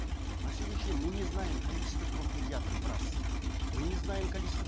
на сегодняшний день мы не знаем количество проф медиаторов раз мы не знаем количество